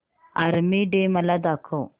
army Day मला दाखव